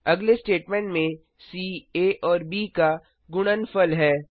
अगले स्टेटमेंट में सी आ और ब का गुणनफल है